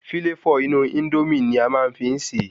Fíláfò inú Índómì ni a máa n fi se